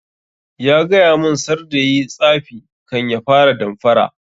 Ya gaya mun sarda yayi tsafi kan ya fara damfara